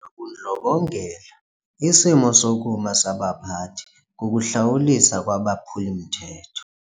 bundlobongela isimo sokuma sabaphathi kukuhlawuliswa kwabaphuli-mthetho.